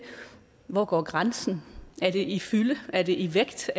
hvor går grænsen er det i fylde er det i vægt